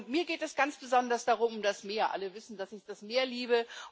Mir geht es ganz besonders um das Meer alle wissen, dass ich das Meer liebe.